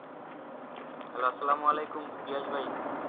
hello আসসালামু আলাইকুম হিয়াজ ভাই